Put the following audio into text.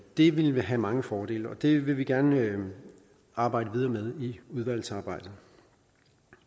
det ville have mange fordele og det vil vi gerne arbejde videre med i udvalgsarbejdet